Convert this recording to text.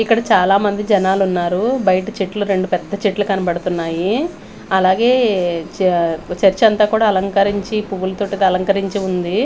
ఇక్కడ చాలామంది జనాలున్నారు బయట చెట్లు రెండు పెద్ద చెట్లు కనపడతున్నాయి అలాగే చ చర్చ్ అంతా కూడా అలంకరించి పువ్వులతోటైతే అలంకరించి ఉంది.